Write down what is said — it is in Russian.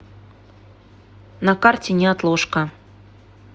на карте неотложка